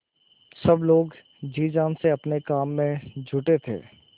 सब लोग जी जान से अपने काम में जुटे थे